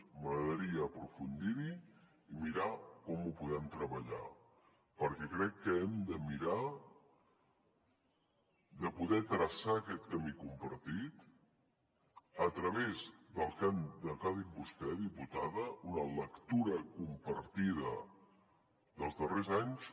m’agradaria aprofundir hi i mirar com ho podem treballar perquè crec que hem de mirar de poder traçar aquest camí compartit a través del que ha dit vostè diputada una lectura compartida dels darrers anys